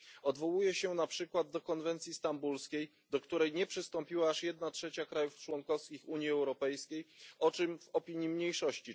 Odwołuje się na przykład do konwencji stambulskiej, do której nie przystąpiła aż jedna trzecia krajów członkowskich Unii Europejskiej, o czym czytamy w opinii mniejszości.